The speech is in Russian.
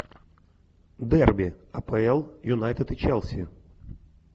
дерби апл юнайтед и челси